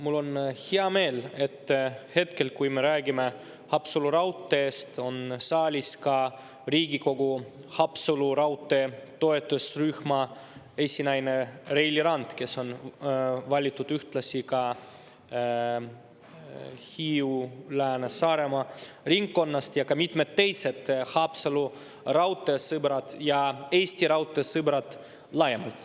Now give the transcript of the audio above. Mul on hea meel, et hetkel, kui me räägime Haapsalu raudteest, on saalis ka Riigikogu Haapsalu raudtee toetusrühma esinaine Reili Rand, kes on valitud ühtlasi ka Hiiu‑, Lääne‑ ja Saaremaa ringkonnast, ja ka mitmed teised Haapsalu raudtee sõbrad ja Eesti Raudtee sõbrad laiemalt.